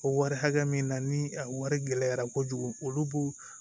O wari hakɛ min na ni a wari gɛlɛyara kojugu olu b'u